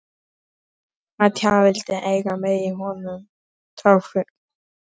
Átján vildu eiga mig í honum Tálknafirði.